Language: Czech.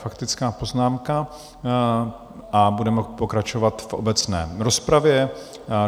Faktická poznámka a budeme pokračovat v obecné rozpravě.